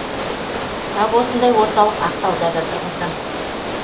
тап осындай орталық ақтауда да тұрғызды